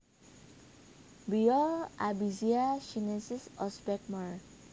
Biol Albizia chinensis Osbeck Merr